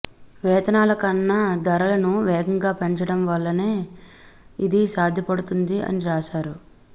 వేతనాల కన్నా ధరలను వేగంగా పెంచడం వలననే ఇది సాధ్యపడుతుంది అని రాశారు